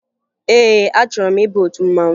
Ee, achọrọ m ịba otu mmanwụ